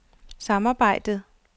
samarbejdet